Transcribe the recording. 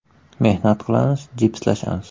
Mehnat qilamiz, jipslashamiz.